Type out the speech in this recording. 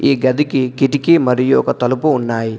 ఈ గదికి కిటికీ మరియు ఒక తలుపు ఉన్నాయి.